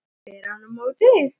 spyr hann á móti.